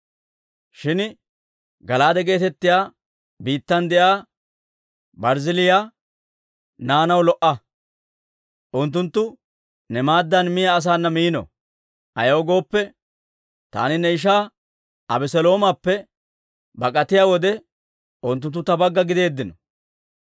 «Shin Gala'aade geetettiyaa biittan de'iyaa Barzzillaaya naanaw lo"a; unttunttu ne maaddan miyaa asaana miino. Ayaw gooppe, taani ne ishaa Abeseloomappe bak'atiyaa wode, unttunttu ta bagga giddeeddino.